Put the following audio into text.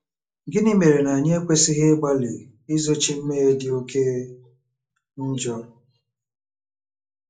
Gịnị mere na anyị ekwesịghị ịgbalị izochi mmehie dị oké njọ?